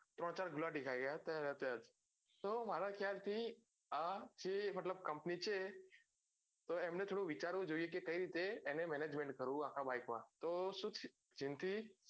ત્રણ ચાર ગુલાટી ખાઈ ગયા ત્યાંના ત્યાં જ તો મારા કહાયાળ થી આ છે company છે તો એમને થોડું વિચારવું જોઈએ કે કઈ રીતે એને management કરવું આખા bike માં તો સુ ટ્યુ